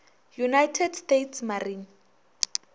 united states marine